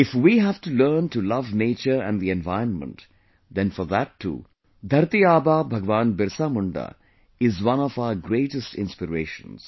If we have to learn to love nature and the environment, then for that too, Dharati Aaba Bhagwan Birsa Munda is one of our greatest inspirations